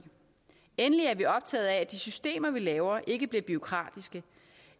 endelig er vi optaget af at de systemer vi laver ikke bliver bureaukratiske